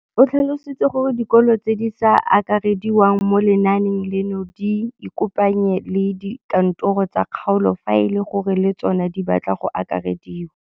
O tlhalositse gore dikolo tse di sa akarediwang mo lenaaneng leno di ikopanye le dikantoro tsa kgaolo fa e le gore le tsona di batla go akarediwa.